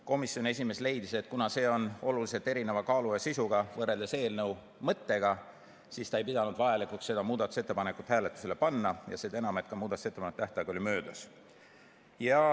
Komisjoni esimees leidis, et kuna see on oluliselt erineva kaalu ja sisuga võrreldes eelnõu mõttega, siis ta ei pea vajalikuks seda muudatusettepanekut hääletusele panna, seda enam, et ka muudatusettepanekute tähtaeg oli möödas.